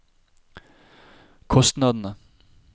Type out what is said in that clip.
kostnadene